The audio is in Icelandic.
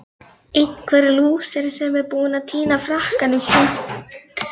Einhver lúser sem er búinn að týna frakkanum sínum!